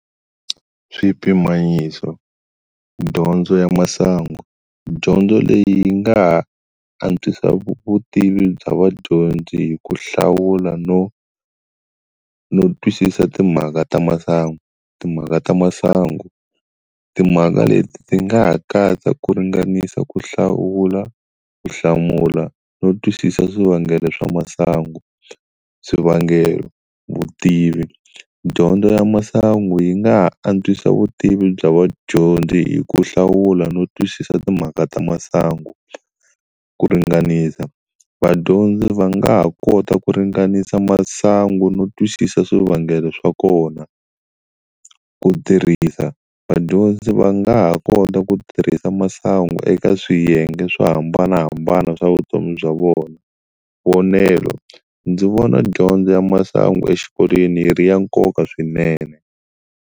Swipimanyiso dyondzo ya masangu, dyondzo leyi yi nga ha antswisa vutivi bya vadyondzi hi ku hlawula no no twisisa timhaka ta masangu, timhaka ta masangu timhaka leti ti nga ha katsa ku ringanisa ku hlawula, ku hlamula no twisisa swivangelo swa masangu. Swivangelo, vutivi, dyondzo ya masangu yi nga ha antswisa vutivi bya vadyondzi hi ku hlawula no twisisa timhaka ta masangu, ku ringanisa vadyondzi va nga ha kota ku ringanisa masangu no twisisa swivangelo swa kona, ku tirhisa vadyondzi va nga ha kota ku tirhisa masangu eka swiyenge swo hambanahambana swa vutomi bya vona, vonelo, ndzi vona dyondzo ya masangu exikolweni yi ri ya nkoka swinene.